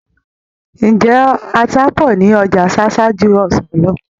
Ǹjẹ́ ata pọ̀ ní Ọjà Ṣáṣá ju ọsàn lọ?